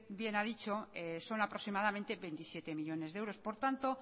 bien ha dicho son aproximadamente veintisiete millónes de euros por tanto